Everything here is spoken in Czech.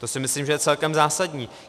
To si myslím, že je celkem zásadní.